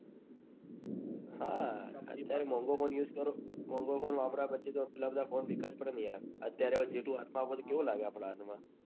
હા અત્યારે મોન્ગો phone use કરો મોન્ગો phone વાપર્યા પછી. તો પેલા બધા phone ફીકા જ પડે ને યાર અત્યારે જેટલું હાથ માં આપો તો કેવું લાગે. આપડા હાથ માં